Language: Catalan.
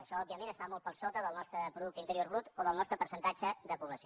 això òbviament està molt per sota del nostre producte interior brut o del nostre percentatge de població